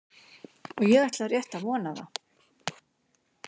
Og ég ætla rétt að vona það.